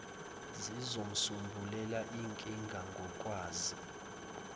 zizisombululela inkinga ngokwazo